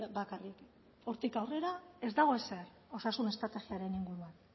bakarrik hortik aurrera ez dago ezer osasun estrategiaren inguruan